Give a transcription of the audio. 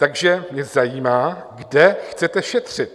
Takže mě zajímá, kde chcete šetřit?